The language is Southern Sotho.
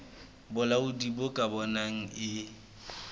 bolaodi bo ka bonang e